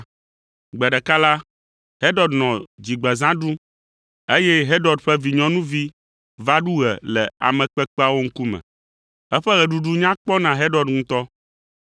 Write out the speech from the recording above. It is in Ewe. Gbe ɖeka la, Herod nɔ dzigbezã ɖum, eye Herod ƒe vinyɔnuvi va ɖu ɣe le ame kpekpeawo ŋkume. Eƒe ɣeɖuɖu nya kpɔ na Herod ŋutɔ,